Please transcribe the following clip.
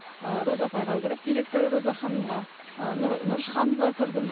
ыыы роза апайға кіріп директоры роза ханымға ы нұрыш ханымға кірдім